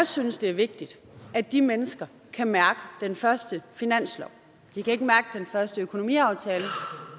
synes det er vigtigt at de mennesker kan mærke den første finanslov de kan ikke mærke den første økonomiaftale